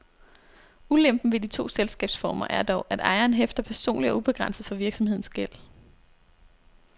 Ulempen ved de to selskabsformer er dog, at ejeren hæfter personligt og ubegrænset for virksomhedens gæld.